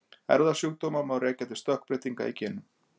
erfðasjúkdóma má rekja til stökkbreytinga í genum